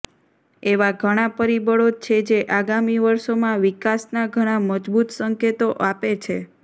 એવા ઘણા પરિબળો છે જે આગામી વર્ષોમાં વિકાસના ઘણા મજબૂત સંકેતો અને આપે છે